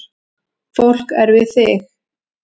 Fólk er við þig